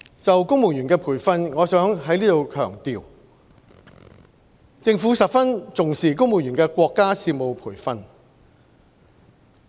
就公務員培訓，我想在此強調，政府十分重視公務員的國家事務培訓。